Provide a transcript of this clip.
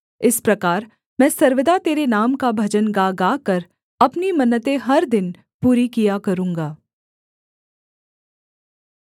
इस प्रकार मैं सर्वदा तेरे नाम का भजन गा गाकर अपनी मन्नतें हर दिन पूरी किया करूँगा